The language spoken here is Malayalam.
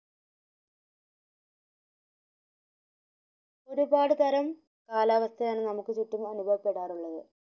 പരുപാട് തരം കാലാവസ്ഥയാണ് നമുക് ചുറ്റും അനുഭവപ്പെടാറുള്ളത്